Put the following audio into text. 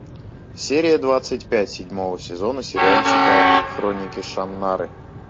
серия двадцать пять седьмого сезона сериальчика хроники шаннары